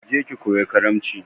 Ki je ki koyi karamci!